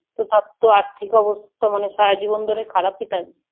তো তার তো আর্থিক অবস্থা মানে সারা জীবন ধরে খারাপই থাকবে।